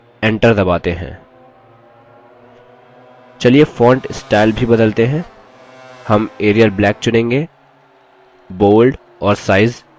चलिए font style भी बदलते हैं; हम arial black change bold और size 12